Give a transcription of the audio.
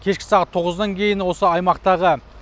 кешкі сағат тоғыздан кейін осы аймақтағы